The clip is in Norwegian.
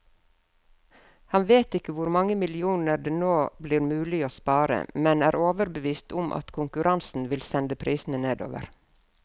Han vet ikke hvor mange millioner det nå blir mulig å spare, men er overbevist om at konkurransen vil sende prisene nedover.